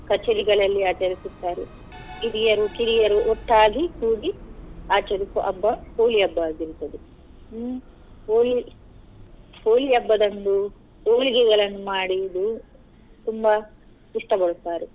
ಕಚೇರಿಗಳಲ್ಲಿ ಆಚರಿಸುತ್ತಾರೆ ಹಿರಿಯರು ಕಿರಿಯರು ಒಟ್ಟಾಗಿ ಕೂಡಿ ಆಚರಿಸುವ ಹಬ್ಬ Holi ಹಬ್ಬ ಆಗಿರುತ್ತದೆ ಹ್ಮ್ Holi Holi ಹಬ್ಬದಂದು ಹೋಳಿಗೆಗಳನ್ನು ಮಾಡುದು ತುಂಬ ಇಷ್ಟ ಪಡುತ್ತಾರೆ.